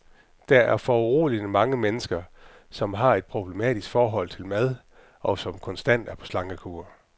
Der er foruroligende mange mennesker, som har et problematisk forhold til mad, og som konstant er på slankekur.